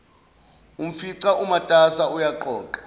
umfica umatasa uyaqoqa